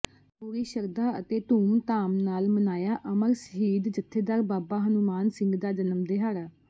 ਪੂਰੀ ਸ਼ਰਧਾ ਅਤੇ ਧੂਮਧਾਮ ਨਾਲ ਮਨਾਇਆ ਅਮਰ ਸ਼ਹੀਦ ਜੱਥੇਦਾਰ ਬਾਬਾ ਹਨੂੰਮਾਨ ਸਿੰਘ ਦਾ ਜਨਮ ਦਿਹਾੜਾ